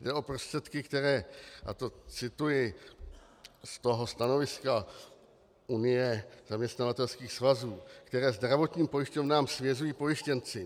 Jde o prostředky, které, a to cituji z toho stanoviska Unie zaměstnavatelských svazů, které zdravotním pojišťovnám svěřují pojištěnci.